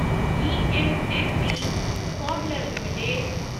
GMMP फाडलर limited